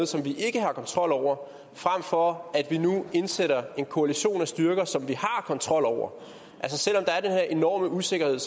som vi ikke har kontrol over frem for at vi indsætter en koalition af styrker som vi har kontrol over selv om der er den her enorme usikkerhed